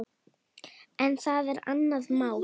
En það er annað mál.